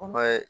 O ma ye